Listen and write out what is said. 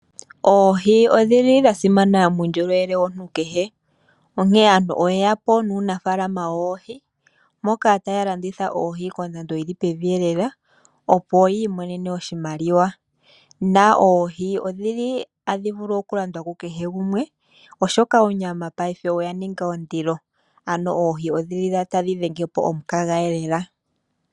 Oohi odhili dha simana kuundjolowele womuntu kehe onkene aantu oyeya po nuunafaalama woohi moka aantu taya landitha oohi kondando yili pevi elela opo yi imonene oshimaliwa. Oohi ohadhi vulu okulandwa ku kehe gumwe oshoka onyama paife oya ninga ondilo ano oohi odhili tadhi dhenge po omukaga lela.